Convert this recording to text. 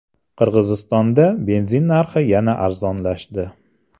Qirg‘izistonda benzin narxi yana arzonlashdi.